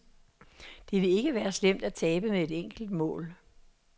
Det vil ikke være slemt at tabe med et enkelt mål.